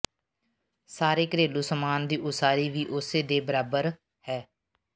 ਸਾਰੇ ਘਰੇਲੂ ਸਮਾਨ ਦੀ ਉਸਾਰੀ ਵੀ ਉਸੇ ਦੇ ਬਾਰੇ ਹੈ